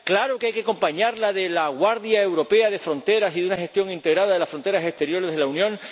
Claro que hay que acompañarla de la Guardia Europea de Fronteras y Costas, y de una gestión integrada de las fronteras exteriores de la Unión.